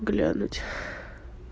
глянуть